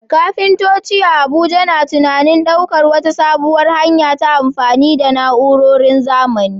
Kafintoci a Abuja na tunanin daukar wata sabuwar hanya ta amfani da na'urorin zamani.